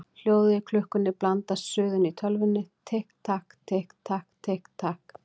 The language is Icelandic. Hljóðið í klukkunni blandast suðinu í tölvunni: Tikk takk, tikk takk, tikk takk.